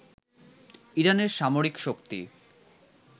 ইরানের সামরিক শক্তি